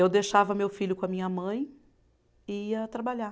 Eu deixava meu filho com a minha mãe e ia trabalhar.